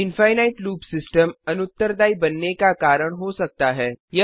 infinite loop system अनुत्तरदायी बनने का कारण हो सकता है